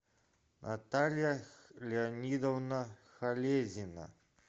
наталья леонидовна холезина